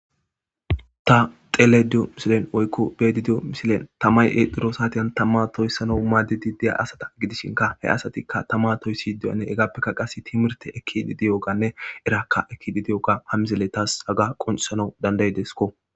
ta xele diyo misilen woykko beedidiyo misilen tamay exdiro saatiyn tamma toyssana maadidi deya asata gidishinka he asatikka tama toyssi diyanne egappekka qas timirte ekki bidiyoganne eraakka ekki bidiyoga hammizele taas aga qoncisanau dandaydesko